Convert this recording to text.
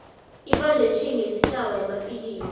ifandetjhini yesitjhaba yamafilimu